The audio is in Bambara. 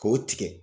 K'o tigɛ